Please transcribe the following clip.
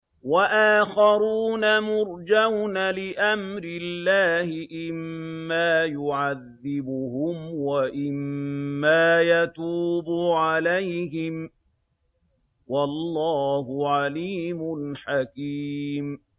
وَآخَرُونَ مُرْجَوْنَ لِأَمْرِ اللَّهِ إِمَّا يُعَذِّبُهُمْ وَإِمَّا يَتُوبُ عَلَيْهِمْ ۗ وَاللَّهُ عَلِيمٌ حَكِيمٌ